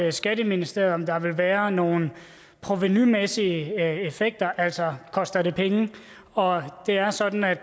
i skatteministeriet om der vil være nogle provenumæssige effekter altså koster det penge og det er sådan at